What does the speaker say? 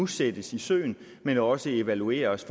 sættes i søen men også evalueres